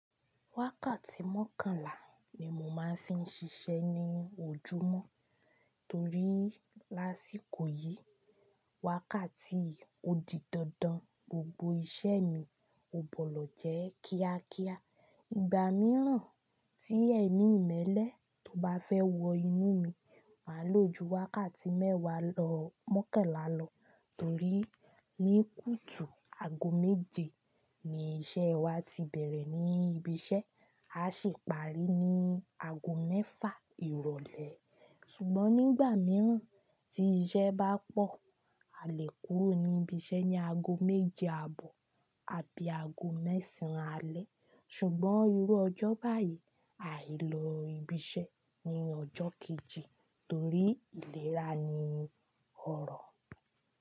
Wákàtí mọ́kànlá ni mo máa ń fi ń ṣiṣẹ́ ní ojúmọ́ torí lásìkò yìí, wákàtí òdì dandan gbogbo iṣẹ́ mi ò gbọlọ̀ jẹ́ kíákíá. Ìgbà mìíràn tí èmi ìmẹ́lẹ́ tó bá fẹ́ wọ inú mi, màá loju wákàtí mẹ́wàá lọ mọ́kànlá lọ torí ní kùtù aago méje ni iṣẹ́ wa ti bẹ̀rẹ̀ ní ibi iṣẹ́, a sì parí ní aago mẹ́fà ìrọ̀lẹ́ ṣùgbọ́n nígbà mìíràn tí iṣẹ́ bá pọ̀, a lè kúrò ní ibi iṣẹ́ ní aago méje àbọ̀ àbí aago mẹ́sàn án alẹ́ ṣùgbọ́n irú ọjọ́ báyìí, à yí lọ ibi iṣẹ́ ní ọjọ́ kejì torí ìlera ni ọ̀rọ̀